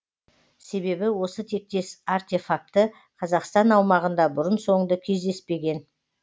себебі осы тектес артефакті қазақстан аумағында бұрын соңды кездеспеген